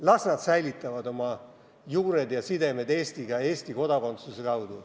Las nad säilitavad oma juured ja sidemed Eestiga Eesti kodakondsuse kaudu.